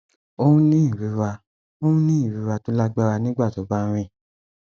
ó ń ní ìrora ń ní ìrora tó lágbára nígbà tó bá ń rìn